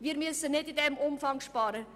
Wir müssen nicht in diesem Umfang sparen.